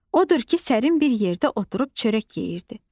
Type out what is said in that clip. Odur ki, sərin bir yerdə oturub çörək yeyirdi.